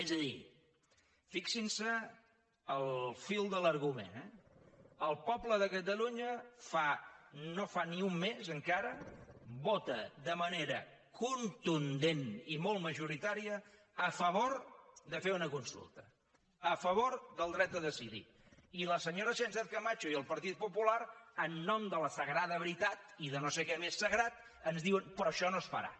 és a dir fixin se en el fil de l’argument el poble de catalunya no fa ni un mes encara vota de manera contundent i molt majoritària a favor de fer una consulta a favor del dret a decidir i la senyora sánchezcamacho i el partit popular en nom de la sagrada veritat i de no sé què més sagrat ens diuen però això no es farà